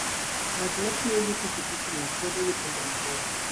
Ng'at ma tiyo gi piki pikino bedo gi timbe mabeyo.